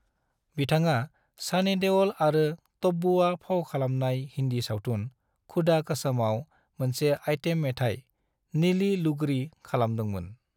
बिथाङा सानी देवल आरो तब्बूआ फाव खालामनाय हिन्दी सावथुन खुदा कसमआव मोनसे आइटेम मेथाइ ("नीली लुगड़ी") खालामदोंमोन।